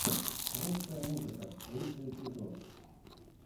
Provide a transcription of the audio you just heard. русская музыка лучший эпизод